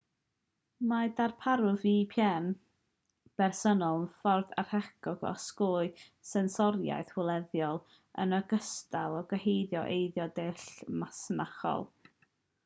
mae darparwyr vpn rhwydwaith preifat rhithiol personol yn ffordd ardderchog o osgoi sensoriaeth wleidyddol yn ogystal â geohidlo eiddo deallusol masnachol